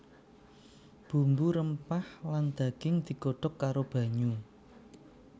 Bumbu rempah lan daging digodhog karo banyu